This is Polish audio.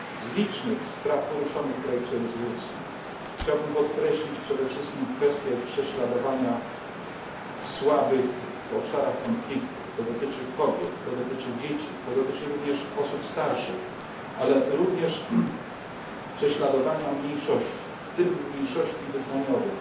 Z licznych spraw poruszonych w projekcie rezolucji chciałbym podkreślić przede wszystkim kwestię prześladowania słabych w obszarach konfliktów to dotyczy kobiet, to dotyczy dzieci, to dotyczy również osób starszych ale również kwestię prześladowania mniejszości, w tym mniejszości wyznaniowych.